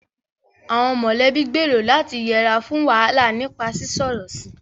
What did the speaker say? Àwọn mọ̀lẹ́bí gbèrò láti yẹra fún wàhálà nípa sísọ̀rọ̀ sí i